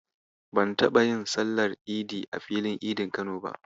Ban taɓa yin sallar Idi a filin Idin Kano ba.